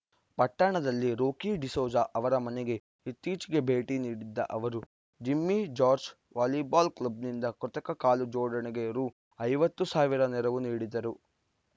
ಪಟ್ಟಣದಲ್ಲಿ ರೋಕಿ ಡಿಸೋಜ ಅವರ ಮನೆಗೆ ಇತ್ತೀಚೆಗೆ ಭೇಟಿ ನೀಡಿದ್ದ ಅವರು ಜಿಮ್ಮಿ ಜಾರ್ಜ್ ವಾಲಿಬಾಲ್‌ ಕ್ಲಬ್‌ನಿಂದ ಕೃತಕ ಕಾಲು ಜೋಡಣೆಗೆ ರು ಐವತ್ತು ಸಾವಿರ ನೆರವು ನೀಡಿದರು